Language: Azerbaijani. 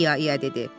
İya-iya dedi.